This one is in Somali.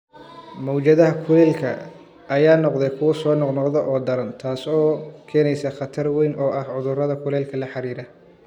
Mowjadaha kulaylka ayaa noqda kuwo soo noqnoqda oo daran, taasoo keenaysa khatar weyn oo ah cudurrada kulaylka la xiriira.